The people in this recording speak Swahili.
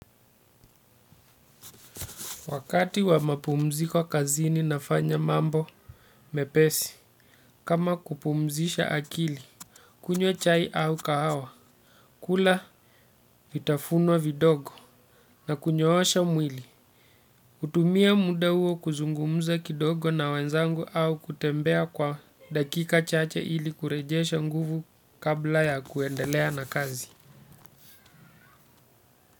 Wakati wa mapumziko kazini nafanya mambo mepesi, kama kupumzisha akili, kunywa chai au kahawa, kula vitafuno vidogo na kunyoosha mwili. Kutumia muda huo kuzungumza kidogo na wenzangu au kutembea kwa dakika chache ili kurejesha nguvu kabla ya kuendelea na kazi.